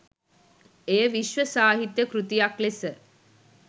එය විශ්ව සාහිත්‍ය කෘතියක් ලෙස